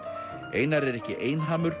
einar er ekki